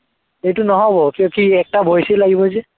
সেইটো নহব, কিয় কি এটা voice য়েই লাগিব যে